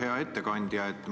Hea ettekandja!